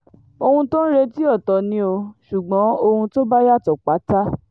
ohun tó ń retí ọ̀tọ̀ ni ò ṣùgbọ́n ohun tó bá yàtọ̀ pátá